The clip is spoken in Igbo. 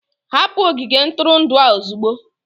Hapụ ogige ntụrụndụ a ozugbo!